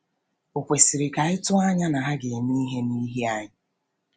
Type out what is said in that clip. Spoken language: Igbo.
Ò kwesiri ka anyị tụọ anya na ha ga-eme ihe n’ihi anyị?’